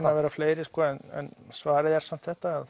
að vera fleiri sko en svarið er samt þetta